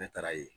Ne taara ye